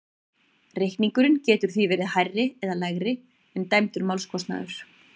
Reikningurinn getur því verið hærri eða lægri en dæmdur málskostnaður.